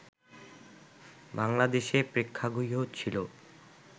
বাংলাদেশে প্রেক্ষাগৃহ ছিল